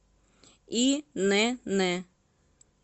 инн